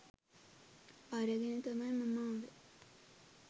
අරගෙන තමයි මම ආවෙ